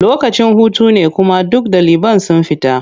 Lokacin hutu ne kuma duk ɗaliban sun fita.